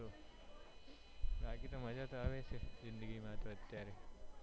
બાકી તો મજા તો આવે છે જિંદગી માં તો અત્યારે